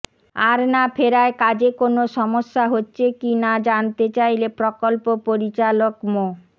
আর না ফেরায় কাজে কোনো সমস্যা হচ্ছে কি না জানতে চাইলে প্রকল্প পরিচালক মো